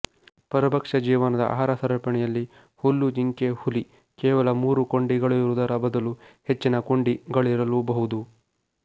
ಪರಭಕ್ಷ ಜೀವನದ ಆಹಾರ ಸರಪಣಿಯಲ್ಲಿ ಹುಲ್ಲುಜಿಂಕೆಹುಲಿ ಕೇವಲ ಮೂರು ಕೊಂಡಿಗಳಿರುವುದರ ಬದಲು ಹೆಚ್ಚಿನ ಕೊಂಡಿಗಳಿರಲೂಬಹುದು